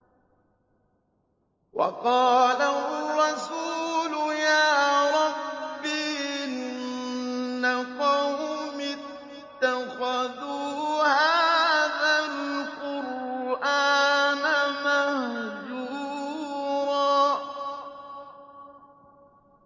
وَقَالَ الرَّسُولُ يَا رَبِّ إِنَّ قَوْمِي اتَّخَذُوا هَٰذَا الْقُرْآنَ مَهْجُورًا